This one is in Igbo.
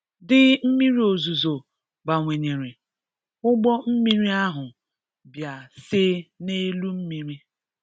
Dịi mmiri ozizo bawanyere, ụgbọ mmiri ahụ bịa see n'elu mmiri.